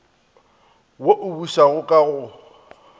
wo o bušago ka go